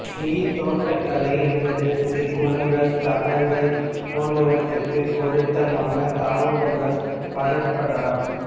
நீர்த் தோட்டக்கலை என்பது சிறு குளங்கள் தடாகங்கள் போன்றவற்றுக்குப் பொருத்தமான தாவரங்களை வளர்ப்பதாகும்